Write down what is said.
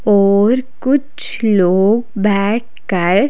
और कुछ लोग बैठकर--